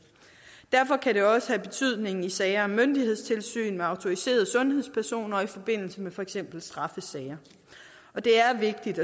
derfor kan det også have betydning i sager om myndighedstilsyn med autoriserede sundhedspersoner og i forbindelse med for eksempel straffesager det er vigtigt